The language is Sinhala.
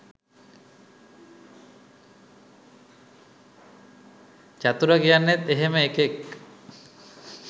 චතුර කියන්නෙත් එහෙම එකෙක්